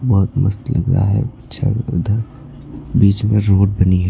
बहोत मस्त लग रहा है पिक्चर उधर बीच में रोड बनी है।